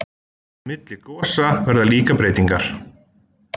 milli gosa verða líka breytingar